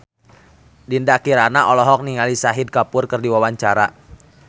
Dinda Kirana olohok ningali Shahid Kapoor keur diwawancara